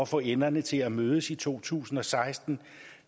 få enderne til at mødes i to tusind og seksten